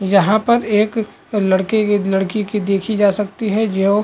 जहाँ पर एक लड़के की लड़की की देखी जा सकती है जो--